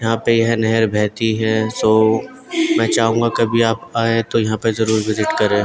यहाँ पे यह नहर बेहेती है सो मैं चाहूंगा कभी आप आए तो यहाँ पे जरूर विजिट करे।